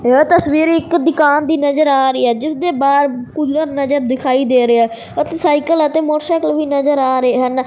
ਇਹ ਤਸਵੀਰ ਇਕ ਦੁਕਾਨ ਦੀ ਨਜ਼ਰ ਆ ਰਹੀ ਹੈ ਜਿਸਦੇ ਬਾਹਰ ਕੂਲਰ ਨਜ਼ਰ ਦਿਖਾਈ ਦੇ ਰਿਹਾ ਹੈ ਉਥੇ ਸਾਈਕਲ ਅਤੇ ਮੋਟਰਸਾਕਲ ਵੀ ਨਜ਼ਰ ਆ ਰਿਹਾ ਨਾ।